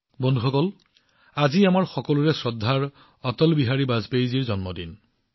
বন্ধুসকল আজি আমাৰ সন্মানীয় অটল বিহাৰী বাজপেয়ীজীৰ জন্মদিন